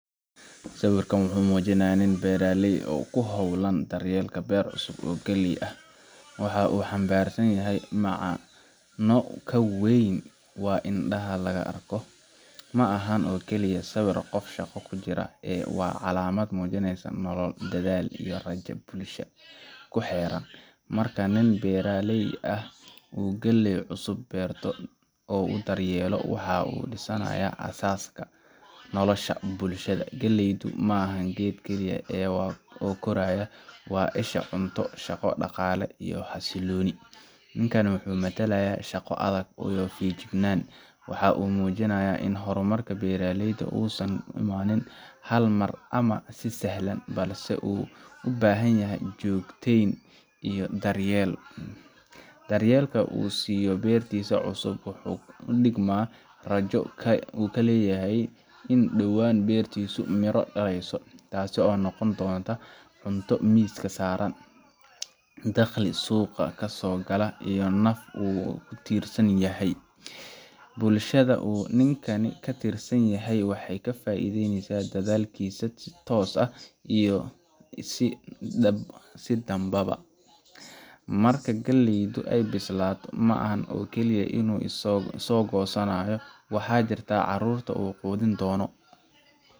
Sawirka uu muujinayo nin beeraley ah oo ku hawlan daryeelka beer cusub oo galley ah, waxa uu xambaarsan yahay macno ka weyn waxa indhaha laga arko. Ma aha oo keliya sawir qof shaqo ku jira, ee waa calaamad muujinaysa nolol, dadaal, iyo rajada bulshada ku xeeran. Marka nin beeraley ah uu galley cusub beerto oo uu daryeelo, waxa uu dhisayaa aasaaska nolosha bulshada. Galleydu maaha geed keliya oo koraya; waa isha cunto, shaqo, dhaqaale, iyo xasillooni. Ninkani wuxuu matalayaa shaqo adag iyo feejignaan. Waxa uu muujinayaa in horumarka beeraleydu uusan ku imaan hal mar ama si sahal ah, balse uu u baahanyahay joogteyn iyo daryeel. Daryeelka uu siiyo beertiisa cusub wuxuu u dhigmaa rajo uu ka leeyahay in dhowaan beertiisu miro dhalayso, taas oo noqon doonta cunto miiska saaran, dakhli suuqa ka soo gala, iyo naf uu ku tiirsan yahay. Bulshada uu ninkani ka tirsanyahay waxay ka faa’iidaysaa dadaalkiisa si toos ah iyo si dadbanba. Marka galleydu ay bislaato, ma aha oo keliya inuu isagu goosanayo; waxaa jira carruurta uu quudin doono,